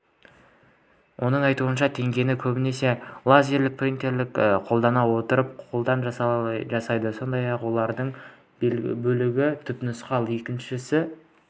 оның айтуынша теңгені көбінесе лазерлік принтерді қолдана отырып қолдан жасайды сондай-ақ олбір бөлігі түпнұсқа ал екіншісі